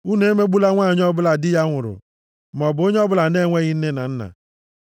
“Unu emegbula nwanyị ọbụla di ya nwụrụ, maọbụ onye ọbụla na-enweghị nne na nna.